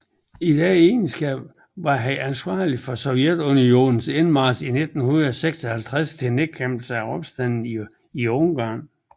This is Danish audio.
I den egenskab var han ansvarlig for Sovjetunionens indmarch i 1956 til nedkæmpelse af opstanden i Ungarn